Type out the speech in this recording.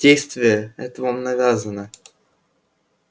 действие это вам навязано